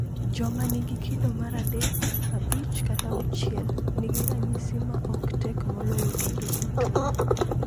Joma nigi kido mar 3, 5, kata 6 nigi ranyisi ma ok tek moloyo kido duto.